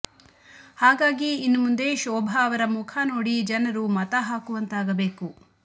ಹಾಗಾಗಿ ಇನ್ನು ಮುಂದೆ ಶೋಭಾ ಅವರ ಮುಖನೋಡಿ ಜನರು ಮತ ಹಾಕುವಂತಾಗಬೇಕು